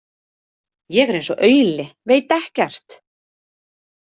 Ég er eins og auli, veit ekkert.